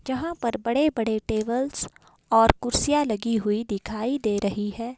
जहां पर बड़े बड़े टेबल्स और कुर्सियां लगी हुई दिखाई दे रही है।